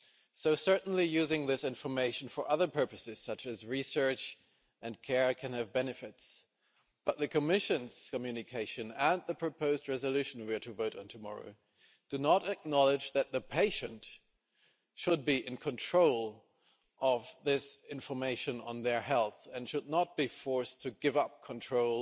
so certainly using this information for other purposes such as research and care can have benefits, but the Commission's communication and the proposed resolution we are to vote on tomorrow do not acknowledge that the patient should be in control of this information on their health and should not be forced to give up control